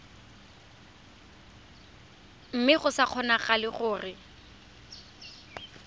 mme go sa kgonagale gore